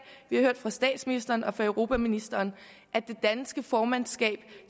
har hørt fra statsministeren og fra europaministeren at det danske formandskab